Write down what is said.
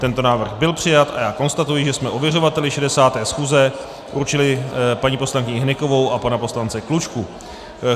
Tento návrh byl přijat a já konstatuji, že jsme ověřovateli 60. schůze určili paní poslankyni Hnykovou a pana poslance Klučku.